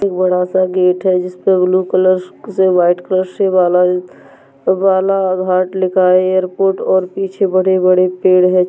बड़ा सा गेट है जिसपे ब्लू कलर से व्हाइट कलर से ऐपोर्ट और पीछे बड़े बड़े पेड़ है।